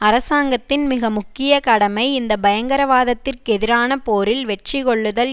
அரசாங்கத்தின் மிக முக்கிய கடமை இந்த பயங்கரவாதத்திற்கெதிரான போரில் வெற்றி கொள்ளுதல்